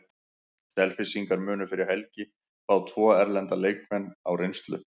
Selfyssingar munu fyrir helgi fá tvo erlenda leikmenn á reynslu.